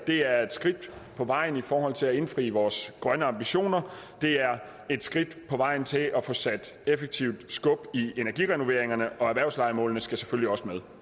det er et skridt på vejen i forhold til at indfri vores grønne ambitioner det er et skridt på vejen til at få sat effektivt skub i energirenoveringerne og erhvervslejemålene skal selvfølgelig også med